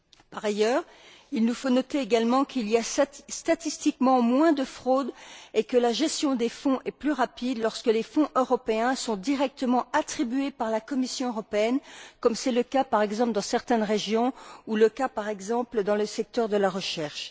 Par ailleurs, il nous faut noter qu'il y a statistiquement moins de fraudes et que la gestion des fonds est plus rapide, lorsque les fonds européens sont directement attribués par la Commission européenne, comme c'est le cas, par exemple, dans certaines régions ou encore, dans certains secteurs, comme de la recherche.